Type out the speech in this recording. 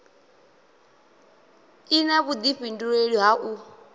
i na vhudifhinduleli ha u